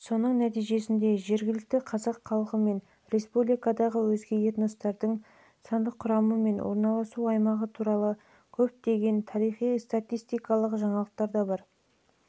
соның нәтижесінде жергілікті қазақ халқы мен республикадағы өзге этностардың сандық құрамы мен орналасу аймағы туралы көптеген тарихистатистикалық жаңалықтар